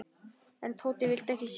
En Tóti vildi ekki sjá.